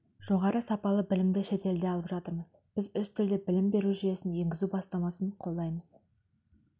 жоғары сапалы білімді шетелде алып жатырмыз біз үш тілде білім беру жүйесін енгізу бастамасын қолдаймыз